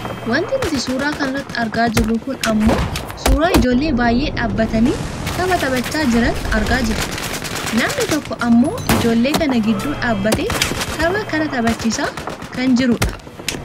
Wanti nuti suuraa kana irratti argaa jirru kun ammoo suuraa ijoollee baayyee dhaabbatanii tapha taphachaa jiran argaa jirra. Namni tokko ammoo ijoollee kana gidduu dhaabbatee tapha kana taphachiisaa kan jirudha.